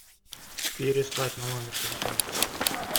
переслать на номер телефона